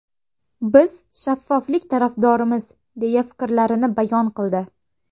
Biz shaffoflik tarafdorimiz”, deya fikrlarini bayon qildi.